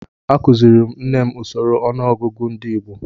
Akuziri m nne m usoro ọnụọgụgụ ndị Igbo